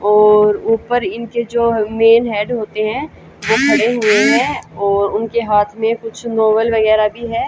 और ऊपर इनके जो मेन हेड होते हैं वो खड़े हुए हैं और उनके हाथ में कुछ नोवल वगैरह भी है।